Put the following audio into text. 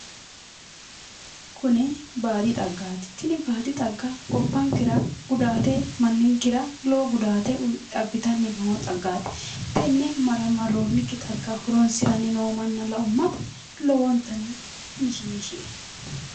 Kuni baadi xaggaati tini baadi xagga gobbankera gudaate manninkera gudaate abbitanni noo xaggaati tine maraammarroonnikki xagga horonsiranni noo manna la"ummata lowontanni mishiishie